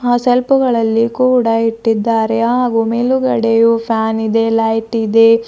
ಶೆಲ್ಪು ಗಳಲ್ಲಿ ಕೂಡ ಇಟ್ಟಿದ್ದಾರೆ ಹಾಗೂ ಮೇಲುಗಡೆಯೂ ಫ್ಯಾನ್ ಇದೆ ಲೈಟ್ ಇದೆ.